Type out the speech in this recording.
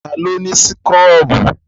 Ta ló ni súkúrọ́bù?